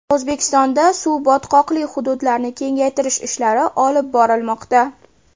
O‘zbekistonda suv-botqoqli hududlarni kengaytirish ishlari olib borilmoqda.